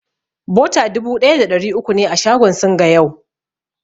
Bota dubu ɗaya da ɗari uku ne a shagon Singa yau.